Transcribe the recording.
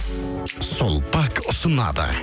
сулпак ұсынады